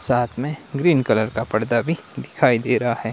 साथ में green colour का पर्दा भी दिखाई दे रहा है।